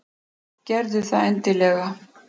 Gerðu það endilega.